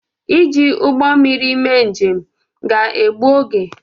Iji ụgbọ mmiri mee njem ga-gbu oge.